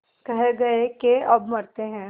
कह गये के अब मरते हैं